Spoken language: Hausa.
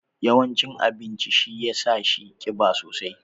Yawan cin abincin shi ya sa shi kiba sosai.